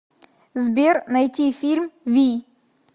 сбер найти фильм вий